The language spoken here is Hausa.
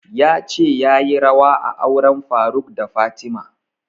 Ya ce yayi rawa a auren faruk da fatima